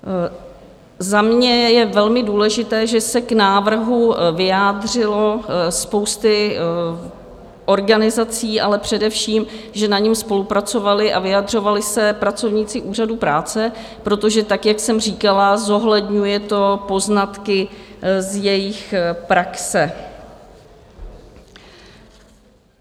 Za mě je velmi důležité, že se k návrhu vyjádřila spousta organizací, ale především že na něm spolupracovali a vyjadřovali se pracovníci Úřadu práce, protože, tak jak jsem říkala, zohledňuje to poznatky z jejich praxe.